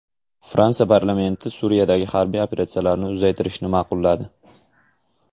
Fransiya parlamenti Suriyadagi harbiy operatsiyalarni uzaytirishni ma’qulladi.